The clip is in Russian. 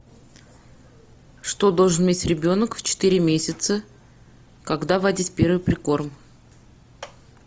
что должен уметь ребенок в четыре месяца когда вводить первый прикорм